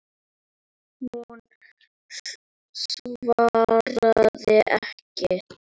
Hún svaraði ekki.